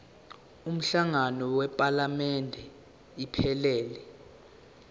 umhlangano wephalamende iphelele